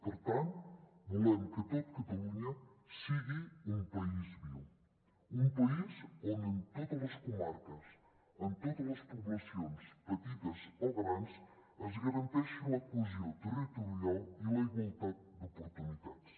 per tant volem que tot catalunya sigui un país viu un país on en totes les comarques en totes les poblacions petites o grans es garanteixi la cohesió territorial i la igualtat d’oportunitats